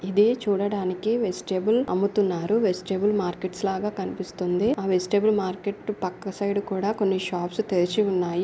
ఇది చూడడానికి వెజిటబుల్స్ అమ్ముతున్నారు వెజిటబుల్స్ మర్కెట్స్ లాగా కనిపిస్తుంది వెజిటబుల్స్ మార్కెట్ పక్క సైడ్ కూడా కొన్ని షాప్స్ తెరిచి ఉన్నాయి.